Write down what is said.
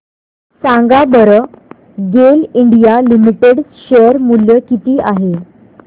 सांगा बरं GAIL India limited share मूल्य किती आहे